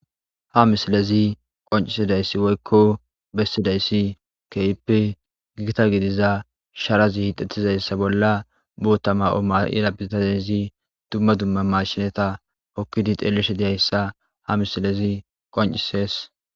ha misilezi qoncisidayssi woykko bessidayssi keyppe gigita gidiza sharazi hidettizayssa bolla bootama oma7ira bitazayzi dumma dumma mashinata okkidi xeelishe diyayssa ha misilezi qoncisees